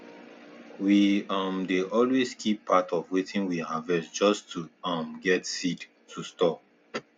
we um dey always keep part of wetin we harvest just to um get seed to store